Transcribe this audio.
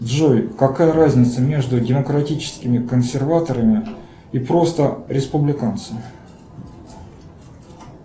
джой какая разница между демократическими консерваторами и просто республиканцами